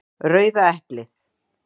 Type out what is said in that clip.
Rauða eplið.